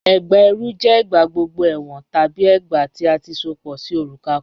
Ẹgbá ẹrú jẹ igbàgbọ̀gbọ̀ ẹwọn tabi ẹgbá tí a ti sopọ sí orúkà̀ kàn.